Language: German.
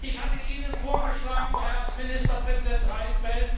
Ich hatte Ihnen vorgeschlagen, Herr Ministerpräsident Reinfeldt,